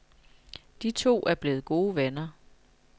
De to er blevet gode venner.